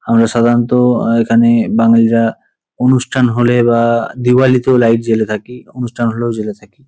আমরা সাধারণত আ এখানে বাঙালিরা অনুষ্ঠান হলে বা দিওয়ালীতেও লাইট জ্বেলে থাকি। অনুষ্ঠান হলেও জ্বেলে থাকি।